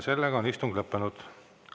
Istung on lõppenud.